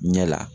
Ɲɛ la